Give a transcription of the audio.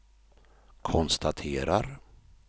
konstaterar